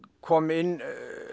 kom inn